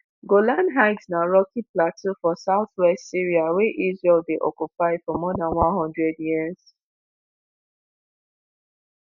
golan heights na rocky plateau for south-west syria wey israel dey occupy for more dan one hundred years.